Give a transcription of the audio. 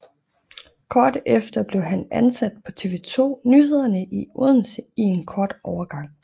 Kort efter blev han ansat på TV 2 Nyhederne i Odense i en kort overgang